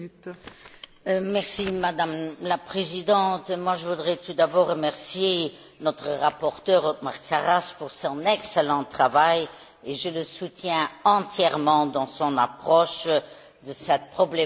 Madame la Présidente, je voudrais tout d'abord remercier notre rapporteur, Othmar Karas, pour son excellent travail et je le soutiens entièrement dans son approche de cette problématique complexe.